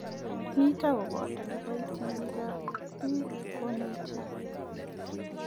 Mito koboto kiboitinikab biik konetik.